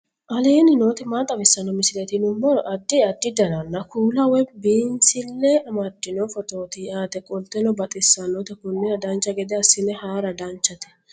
aleenni nooti maa xawisanno misileeti yinummoro addi addi dananna kuula woy biinsille amaddino footooti yaate qoltenno baxissannote konnira dancha gede assine haara danchate